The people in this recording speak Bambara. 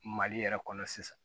Mali yɛrɛ kɔnɔ sisan